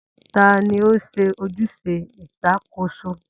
Ta ni ó ń ṣe ojúṣe ìṣàkóso?